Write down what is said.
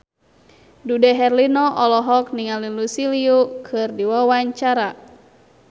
Dude Herlino olohok ningali Lucy Liu keur diwawancara